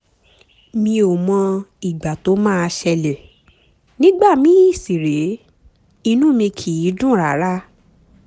mi ò mọ ìgbà tó máa ṣẹlẹ̀ nígbà míì sì rèé inú mi kìí dùn rárá